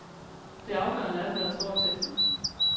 Det afgørende er, hvad der står i teksterne.